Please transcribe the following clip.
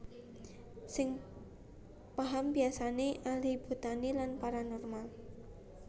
Sing paham biasane ahli botani lan paranormal